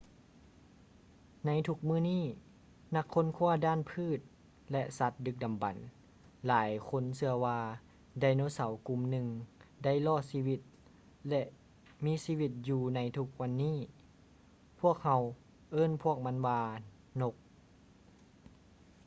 ໃນທຸກມື້ນີ້ ນັກຄົ້ນຄ້ວາດ້ານພືດ ແລະ ສັດດຶກດຳບັນ ຫຼາຍຄົນເຊື່ອວ່າ ໄດໂນເສົາກຸ່ມໜຶ່ງໄດ້ລອດຊີວິດ ແລະ ມີຊີວິດຢູ່ໃນທຸກວັນນີ້ ພວກເຮົາເອີ້ນພວກມັນວ່າ ນົກ